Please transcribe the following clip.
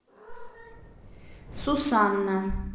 сусанна